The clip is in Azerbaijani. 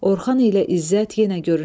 Orxan ilə İzzət yenə görünürlər.